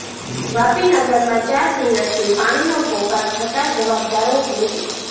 વાપી નગરમાં ચાર દિવસથી પાણીનો પોકાર છતાં જવાબદારો બેફિકર